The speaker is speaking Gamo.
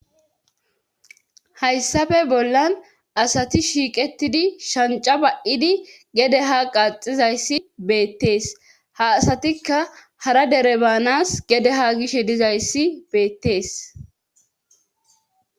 Hayssafe bollan asati shiiqetidi shanca ba'idi gede ha qaaxizayssi beettees ha asatikka hara dere baanas gede haa gishe dizayssi beettees